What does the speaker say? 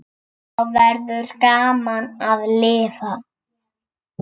Þá verður gaman að lifa.